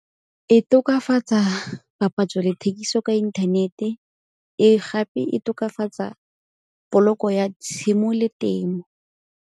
E tokafatsa papatso le thekiso ka inthanete e gape e tokafatsa poloko ya tshimo le temo.